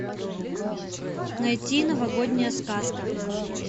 найти новогодняя сказка